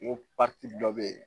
Ko dɔ bɛ yen